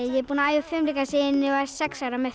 ég er búin að æfa fimleika síðan ég var sex ára með